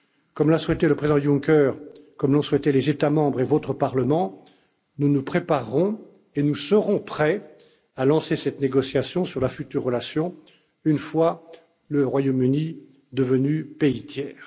Comme l'a souhaité le président Juncker et comme l'ont souhaité les États membres et votre Parlement, nous nous préparerons et nous serons prêts à lancer cette négociation sur la future relation, une fois le Royaume Uni devenu pays tiers.